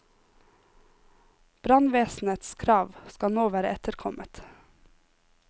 Brannvesenets krav skal nå være etterkommet.